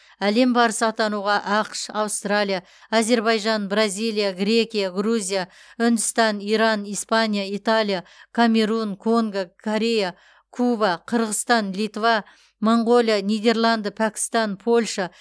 әлем барысы атануға ақш аустралия әзербайжан бразилия грекия грузия үндістан иран испания италия камерун конго корея куба қырғызстан литва моңғолия нидерланды пәкістан польша